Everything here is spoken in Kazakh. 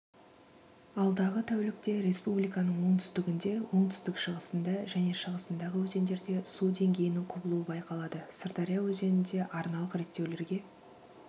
алдағы тәулікте республиканың оңтүстігінде оңтүстік-шығысында және шығысындағы өзендерде су деңгейінің құбылуы байқалады сырдария өзенінде арналық реттеулерге